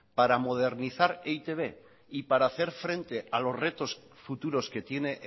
para modernizar e i te be y para hacer frente a los retos futuros que tiene